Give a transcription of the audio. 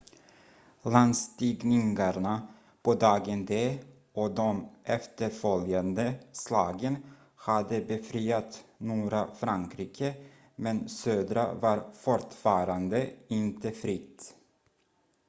landstigningarna på dagen d och de efterföljande slagen hade befriat norra frankrike men södra var fortfarande inte fritt